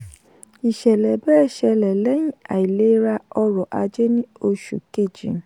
ìṣẹ̀lẹ̀ bẹ́ẹ̀ ṣẹlẹ̀ lẹ́yìn àìlera ọrọ̀ ajé ní oṣù kejì.